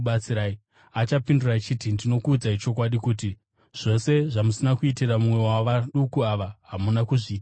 “Achapindura achiti, ‘Ndinokuudzai chokwadi kuti, zvose zvamusina kuitira mumwe wavaduku ava, hamuna kuzviitira ini.’